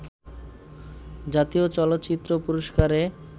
জাতীয় চলচ্চিত্র পুরস্কারে